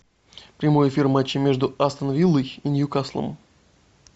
прямой эфир матча между астон виллой и ньюкаслом